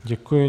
Děkuji.